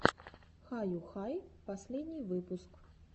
хаюхай последний выпуск